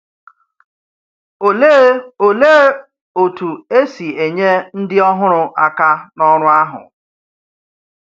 Òlee Òlee otú e si enyé ndị ọhụrụ aka n’ọrụ ahụ?